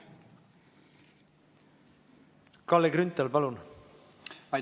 Kalle Grünthal, palun!